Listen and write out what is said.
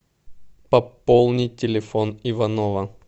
пополнить телефон иванова